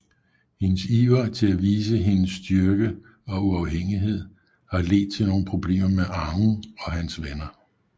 Hendes iver til at vise hendes styrke og uafhængighed har ledt til nogle problemer med Aang og hans venner